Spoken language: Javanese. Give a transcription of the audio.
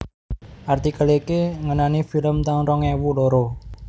Artikel iki ngenani film taun rong ewu loro